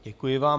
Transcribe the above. Děkuji vám.